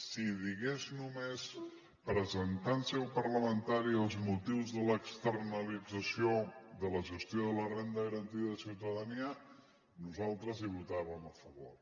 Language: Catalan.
si digués només presentar en seu parlamentària els motius de l’externalització de la gestió de la renda garantida de ciutadania nosaltres hi votàvem a favor